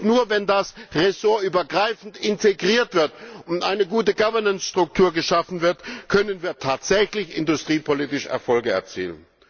Nur wenn das ressortübergreifend integriert wird und eine gute Governance Struktur geschaffen wird, können wir tatsächlich industriepolitisch Erfolge erzielen.